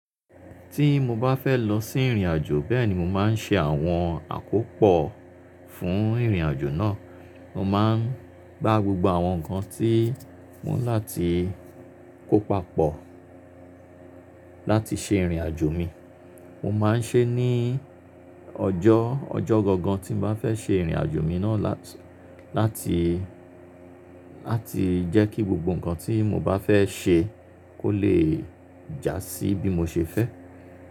Tí mo bá fẹ́ lọ sí ìrìnàjò bẹ́ẹ̀ ni mo máa ń ṣe àwọn àkópọ̀ fún ìrìnàjò náà. Mo má ń gbá gbogbo àwọn nǹkan tí mo ni láti kó papọ̀ láti ṣe ìrìnàjò mi. Mo máa ń ṣe é ní ọjọ́, ọjọ́ gangan tí n bá fẹ́ ṣe ìrìnàjò mi náà láti, láti jẹ́ kí gbogbo nǹkan tí mo bá fẹ́ ṣe kó lè jásí bí mo ṣe fẹ́.